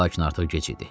Lakin artıq gec idi.